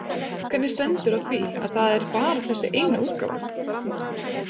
Hvernig stendur á því að það er bara þessi eina útgáfa?